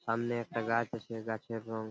সামনে একটা গাছ আছে গাছের রং ।